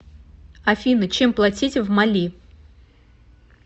афина чем платить в мали